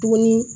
Tuguni